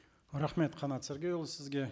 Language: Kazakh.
рахмет қанат сергейұлы сізге